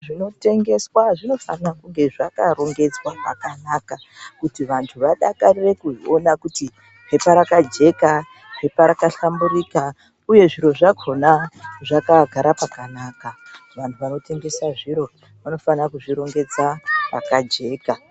Zvinotengeswa zvinofana kunge zvakarongedzwa pakanaka kuti vantu vadakarire kuona kuti phepha rakajeka, phepha rakahlamburika uye zviro zvakona zvakagara pakanaka. Vantu vanotengesa zviro vanofana kuzvirongedza pakajeka.